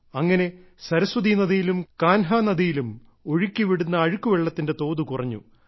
അങ്ങനെ സരസ്വതി നദിയിലും കാൻഹ് നദിയിലും ഒഴുക്കിവിടുന്ന അഴുക്കു വെള്ളത്തിന്റെ തോത് കുറഞ്ഞു